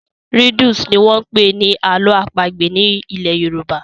Riddles' ni wọ́n ń pè ní àlọ́ àpagbè nílẹ̀ Yorùbá.